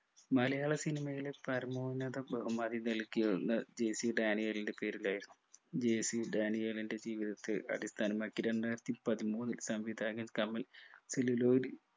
മലയാള സിനിമയിലെ പരമോന്നത ബഹുമതി നൽകിയുള്ള ജെ സി ഡാനിയേലിൻ്റെ പേരിലായിരുന്നു ജെ സി ഡാനിയേലിൻ്റെ ജീവിതത്തെ അടിസ്ഥാനമാക്കി രണ്ടായിരത്തിപ്പതിമൂന്നിൽ സംവിധായകൻ കമൽ celluloid